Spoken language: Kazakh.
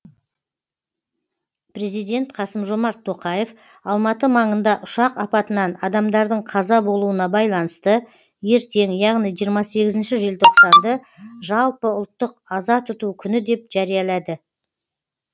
президент қасым жомарт тоқаев алматы маңында ұшақ апатынан адамдардың қаза болуына байланысты ертең яғни жиырма сегізінші желтоқсанды жалпыұлттық аза тұту күні деп жариялады